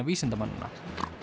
vísindamannanna